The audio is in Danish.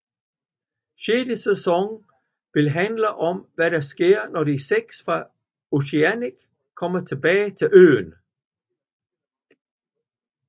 Sjette sæson vil handle om hvad der sker når De Seks fra Oceanic kommer tilbage til øen